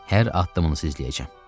Hər addımınızı izləyəcəm.